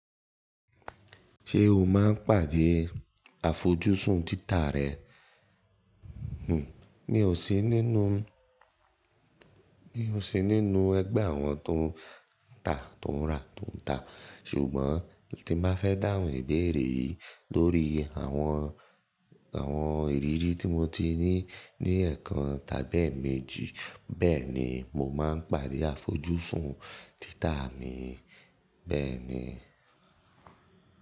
Ṣé o máa ń pàdé àfojúsùn títà rẹ? Hmmm, mi ò sí nínú, mi ò sí nínú ẹgbẹ́ àwọn tó ń tà tó ń rà tó ń tà, ṣùgbọ́n tí bá fẹ́ dáhùn ìbéèrè yìí lórí àwọn, àwọn ìrírí tí mo ti ní ní ẹ̀ẹ̀kan tàbí èmejì, bẹ́ẹ̀ni mo máa ń pàdé àfojúsùn títà mi bẹ́ẹ̀ni.